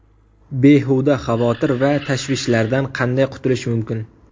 Behuda xavotir va tashvishlardan qanday qutulish mumkin?.